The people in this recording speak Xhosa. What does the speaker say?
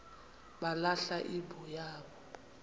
balahla imbo yabo